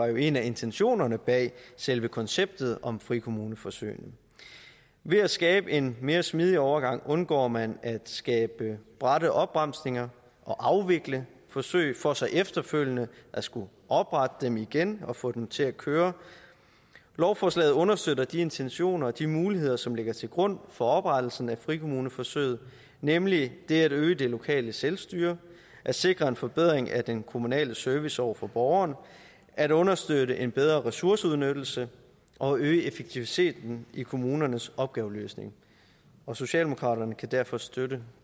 jo en af intentionerne bag selve konceptet om frikommuneforsøgene ved at skabe en mere smidig overgang undgår man at skabe bratte opbremsninger og afvikle forsøg for så efterfølgende at skulle oprette dem igen og få dem til at køre lovforslaget understøtter de intentioner og de muligheder som ligger til grund for oprettelsen af frikommuneforsøget nemlig det at øge det lokale selvstyre at sikre en forbedring af den kommunale service over for borgerne at understøtte en bedre ressourceudnyttelse og at øge effektiviteten i kommunernes opgaveløsning socialdemokraterne kan derfor støtte